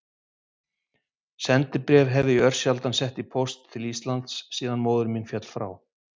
Sendibréf hef ég örsjaldan sett í póst til Íslands síðan móðir mín féll frá.